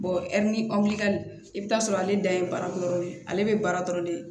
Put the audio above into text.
ɛri i bɛ t'a sɔrɔ ale da ye baara dɔrɔn de ye ale bɛ baara dɔrɔn de